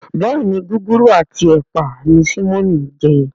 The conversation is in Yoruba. Béèni Gúgúrú ati ẹpa ní Simon ń je.